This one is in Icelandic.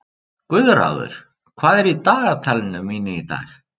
Guðráður, hvað er í dagatalinu mínu í dag?